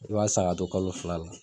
I b'a san k'a to kalo fila la